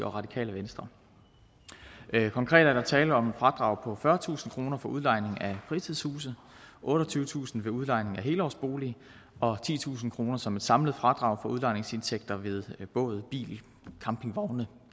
og radikale venstre konkret er der tale om et fradrag på fyrretusind kroner for udlejning af fritidshuse otteogtyvetusind kroner ved udlejning af helårsbolig og titusind kroner som et samlet fradrag for udlejningsindtægter ved båd bil campingvogne